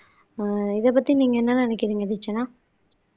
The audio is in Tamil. ஆஹ் இதைப் பத்தி நீங்க என்ன நினைக்கறீங்க தீக்ஷனா